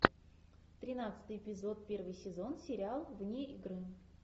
тринадцатый эпизод первый сезон сериал вне игры